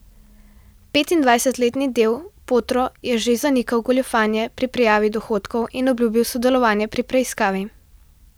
Petindvajsetletni del Potro je že zanikal goljufanje pri prijavi dohodkov in obljubil sodelovanje pri preiskavi.